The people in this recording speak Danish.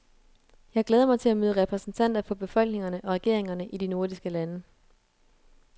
Jeg glæder mig til at møde repræsentanter for befolkningerne og regeringerne i de nordiske lande.